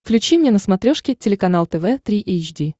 включи мне на смотрешке телеканал тв три эйч ди